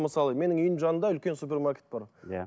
мысалы менің үйімнің жанында үлкен супермаркет бар иә